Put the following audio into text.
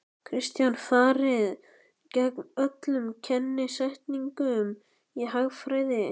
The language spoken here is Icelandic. Kristján: Farið gegn öllum kennisetningum í hagfræði?